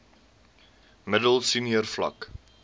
middel senior vlak